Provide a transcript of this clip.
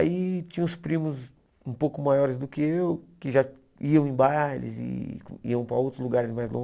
Aí tinha uns primos um pouco maiores do que eu, que já iam em bailes, e iam para outros lugares mais longe.